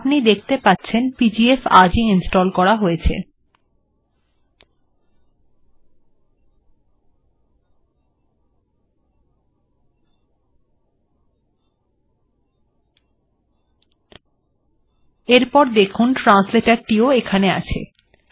আপনি দেখতে পাচ্ছেন পিজিএফ আজ ই ইনস্টল্ করা হয়েছে এরপর দেখুন ট্রান্সলেটর টি ও এখানে আছে